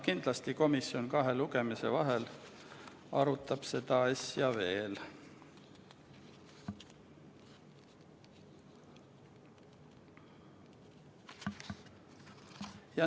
Kindlasti komisjon kahe lugemise vahel arutab seda asja veel.